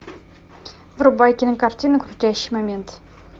врубай кинокартину крутящий момент